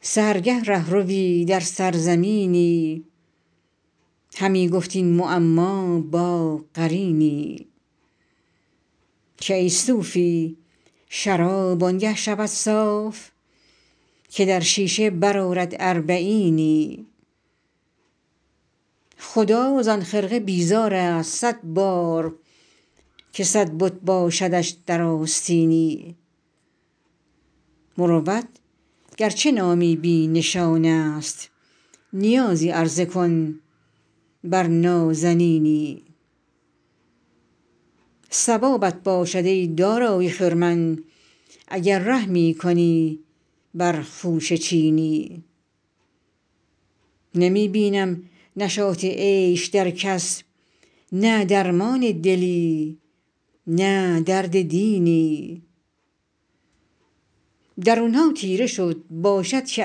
سحرگه ره ‎روی در سرزمینی همی گفت این معما با قرینی که ای صوفی شراب آن گه شود صاف که در شیشه برآرد اربعینی خدا زان خرقه بیزار است صد بار که صد بت باشدش در آستینی مروت گر چه نامی بی نشان است نیازی عرضه کن بر نازنینی ثوابت باشد ای دارای خرمن اگر رحمی کنی بر خوشه چینی نمی بینم نشاط عیش در کس نه درمان دلی نه درد دینی درون ها تیره شد باشد که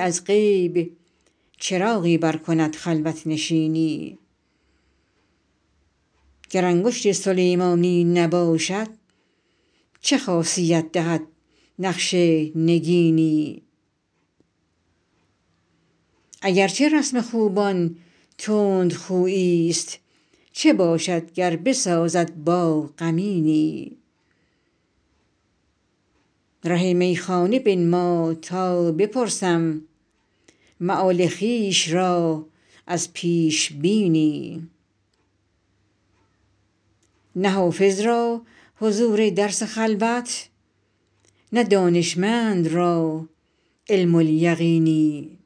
از غیب چراغی برکند خلوت نشینی گر انگشت سلیمانی نباشد چه خاصیت دهد نقش نگینی اگر چه رسم خوبان تندخویی ست چه باشد گر بسازد با غمینی ره میخانه بنما تا بپرسم مآل خویش را از پیش بینی نه حافظ را حضور درس خلوت نه دانشمند را علم الیقینی